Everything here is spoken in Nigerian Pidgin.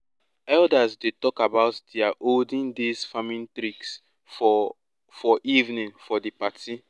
elders dey talk about dia olden days farming tricks for for evening of di party